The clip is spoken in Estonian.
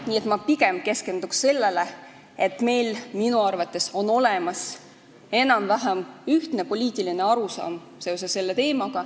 Nii et ma pigem keskenduks sellele, et meil on minu arvates olemas enam-vähem ühtne poliitiline arusaam sellel teemal.